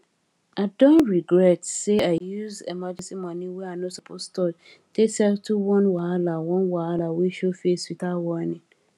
i dey regret say i use emergency money wey i no suppose touch take settle one wahala one wahala wey show face without warning